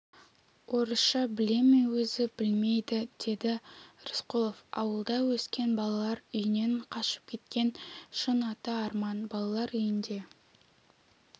орысша біле ме өзі білмейді деді рысқұлов ауылда өскен балалар үйінен қашып кеткен шын аты арман балалар үйінде